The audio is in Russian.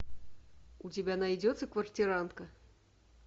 у тебя найдется квартирантка